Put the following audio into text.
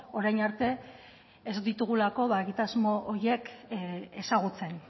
orain arte ez ditugulako egitasmo horiek ezagutzen